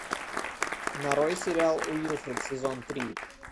нарой сериал уилфред сезон три